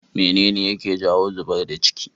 mene ne yake jawo zubar da ciki?